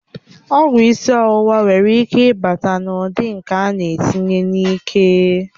Ọgwụ isi ọwụwa nwekwara ike ịbata na ụdị nke ánà etinye n'ike